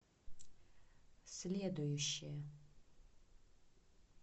следующая